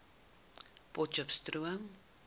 potcheftsroom